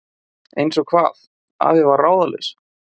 Eins og hvað? afi var ráðalaus.